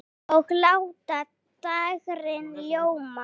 Og láta dægrin ljóma.